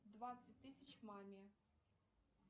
двадцать тысяч маме